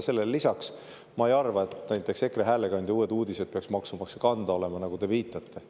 Aga ma ei arva, et näiteks EKRE häälekandja Uued Uudised peaks maksumaksja kanda olema, nagu te viitasite.